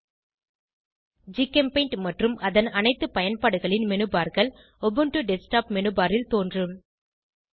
httpgchemutilsnongnuorgpaintmanualindexhtml GChemPaint மற்றும் அதன் அனைத்து பயன்பாடுகளின் menubarகள் உபுண்டு டெஸ்க்டாப் மெனுபர் ல் தோன்றும்